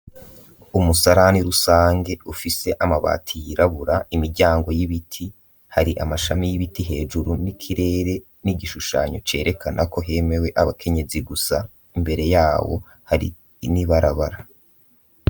Umusarani rusangi, ufise amabati yirabura, imiryango y'ibiti; hari amashami y'ibiti hejuru, n'ikirere, n'igishushanyo, cerekana ko, hemewe abakenyezi gusa; imbere yawo, hari n'ibarabara.